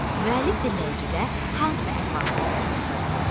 Müəllif dinləyicidə hansı əhval-ruhiyyəni yarada bilib?